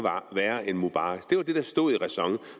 værre end mubaraks det var det der stod i ræson